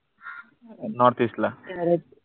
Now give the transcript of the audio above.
northeast ला